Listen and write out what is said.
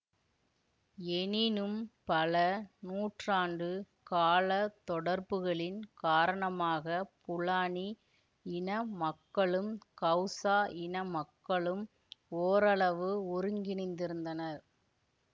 எனினும் பல நூற்றாண்டு கால தொடர்புகளின் காரணமாக ஃபுலானி இன மக்களும் ஹவுசா இன மக்களும் ஓரளவு ஒருங்கிணைந்திருந்தனர்